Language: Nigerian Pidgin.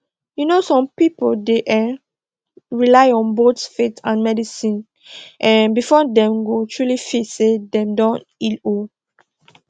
you know some people dey um rely on both faith and medicine um before dem go truly feel say dem don heal um